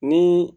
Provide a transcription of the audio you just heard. Ni